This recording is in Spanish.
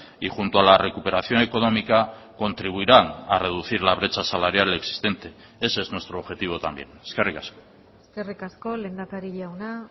y junto a la recuperación económica contribuirán a reducir la brecha salarial existente ese es nuestro objetivo también eskerrik asko eskerrik asko lehendakari jauna